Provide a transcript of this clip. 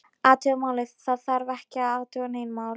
Athuga málið, það þarf ekki að athuga nein mál